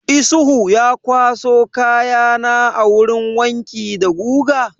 Isuhu ya kwaso kaya na a wurin wanki da guga?